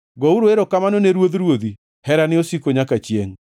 Gouru erokamano ne Ruodh ruodhi: Herane osiko nyaka chiengʼ.